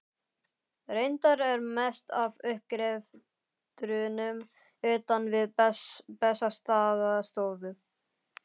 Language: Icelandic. Reyndar er mest af uppgreftrinum utan við Bessastaðastofu.